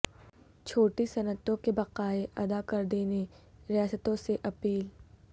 چھوٹی صنعتوں کے بقائے ادا کردینے ریاستوں سے اپیل